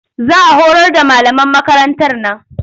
Za a horar da malaman makarantar nan